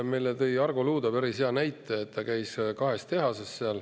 Meile tõi Argo Luude päris hea näite, ta käis seal kahes tehases.